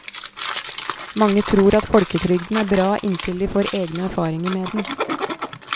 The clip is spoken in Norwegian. Mange tror at folketrygden er bra inntil de får egne erfaringer med den.